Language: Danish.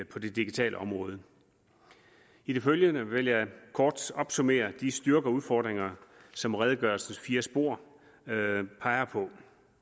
på det digitale område i det følgende vil jeg kort opsummere de styrker og udfordringer som redegørelsens fire spor peger på